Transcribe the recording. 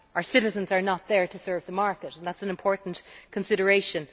Citizens are not there to serve the market, and that is an important consideration.